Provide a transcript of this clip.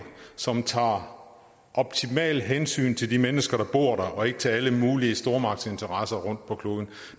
som tager optimalt hensyn til de mennesker der bor der og ikke til alle mulige stormagtsinteresser rundt på kloden